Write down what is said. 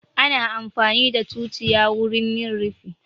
Ana amfani da tutiya wurin yin rufi